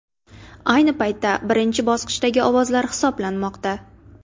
Ayni paytda birinchi bosqichdagi ovozlar hisoblanmoqda.